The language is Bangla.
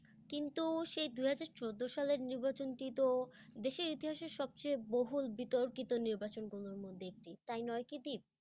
কিন্ত সেই দু'হাজার চোদ্দ সালের নির্বাচনটি তো দেশের ইতিহাসে সবচেয়ে বহুল বিতর্কিত নির্বাচনগুলোর মধ্যে একটি, তাই নয় কি দীপ?